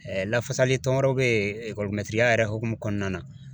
Ɛɛ lafasali tɔn wɛrɛw be yen ekɔlimɛtiriya yɛrɛ hokumu kɔnɔna na